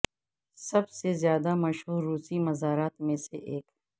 سب سے زیادہ مشہور روسی مزارات میں سے ایک